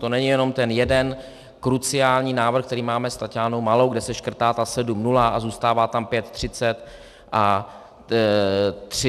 To není jenom ten jeden kruciální návrh, který máme s Taťánou Malou, kde se škrtá ta 7.0 a zůstává tam 5.30 a 50 v této chvíli.